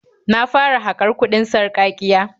Na fara haƙar kuɗin sarƙaƙiya.